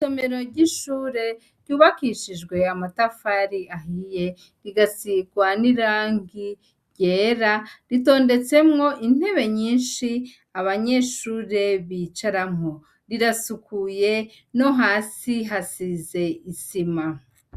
Isomero ry' ishure ryubakishijwe amatafari ahiye, rigasirwa n' irangi ryera, ritondetsemwo intebe nyinshi, abanyeshure bicaramwo. Rirasukuye, no hasi hasize isima.